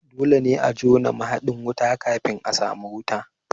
Dole ne a jona mahaɗin wuta kafin a sami wuta